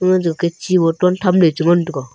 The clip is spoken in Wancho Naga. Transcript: ke chi bottle thamley chengan taiga.